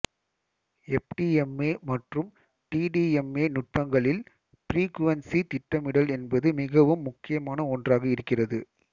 FDMA மற்றும் TDMA நுட்பங்களில் frequency திட்டமிடல் என்பது மிகவும் முக்கியமான ஒன்றாக இருக்கிறது